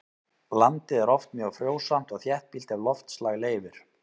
Landið er oft mjög frjósamt og þéttbýlt ef loftslag leyfir.